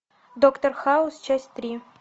доктор хаус часть три